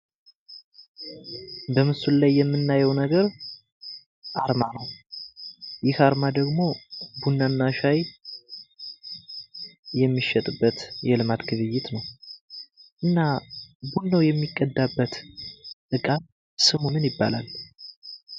በምስሉ ላይ የምንመለከተው አርማ ነው። እና ይህ አርማ ቡና እና ሻይ የሚሸጥበት ቦታ ነው ።እና ቡናው የሚቀዳበት እቃ ስሙ ምን ይባላል?